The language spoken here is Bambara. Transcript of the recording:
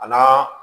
A n'a